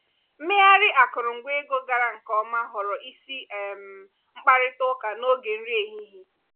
mmegharị akụrụngwa ego gara nke ọma ghọrọ isi um mkparịta ụka n’oge nri ehihie.